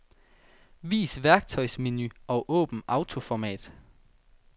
Vis værktøjsmenu og åbn autoformat.